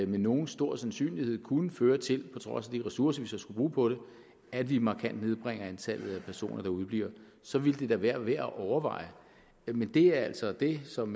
med nogen stor sandsynlighed kunne føre til på trods af de ressourcer vi så skulle bruge på det at vi markant nedbringer antallet af personer der udebliver så ville det da være værd at overveje men det er altså det som